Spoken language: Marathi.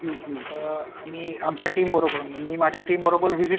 आम्ही आमच्या टीम बरोबर मी माझ्या टीम बरोबर